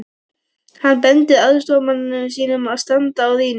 Hann bendir aðstoðarmanni sínum að standa á rýni.